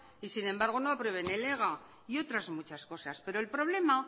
y sin embargo no aprueben en ega y otras muchas cosas pero el problema